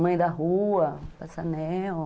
mãe da rua, passanel.